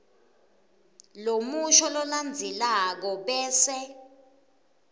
lomusho lolandzelako bese